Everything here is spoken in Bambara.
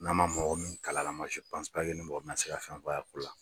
N'a ma mɔgɔ min kal'a la mɔgɔ bɛna se ka fɛn f'a y'a la.